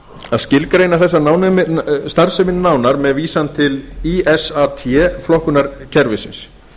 að skilgreina þessa starfsemi nánar með vísan til ísat flokkunarkerfisins